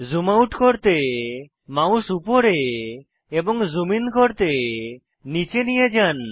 zoom out করতে mouse উপরে এবং জুম ইন করতে নীচে নিয়ে যান